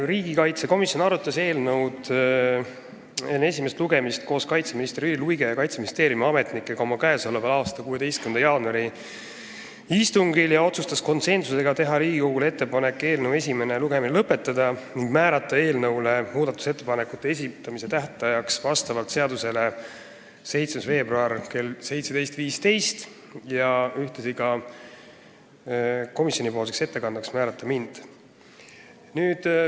Riigikaitsekomisjon arutas eelnõu enne esimest lugemist koos kaitseminister Jüri Luige ja Kaitseministeeriumi ametnikega oma k.a 16. jaanuari istungil ja tegi konsensuslikud otsused teha Riigikogule ettepaneku eelnõu esimene lugemine lõpetada ning määrata seaduse kohaselt eelnõu muudatusettepanekute esitamise tähtajaks 7. veebruar kell 17.15 ja ühtlasi määrata komisjoni ettekandjaks mind.